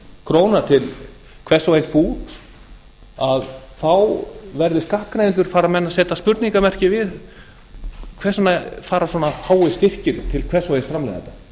króna til hvers og eins bús þá fara menn að setja spurningarmerki við hvers vegna fara svona háir styrkir til hvers og eins framleiðenda